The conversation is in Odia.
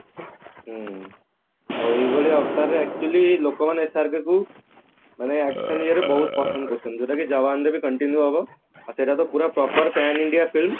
ହଁ ଆଉ ଏଭଳିଆ ଅବତାରରେ actually ଲୋକମାନେ SRK କୁ ମାନେ action ଇଏରେ ବହୁତ ପସନ୍ଦ କରୁଛନ୍ତି ଯୋଉଟା କି ଯବାନ ରେ ବି continue ହେବ ଆଉ ସେଟା ତ proper pan India film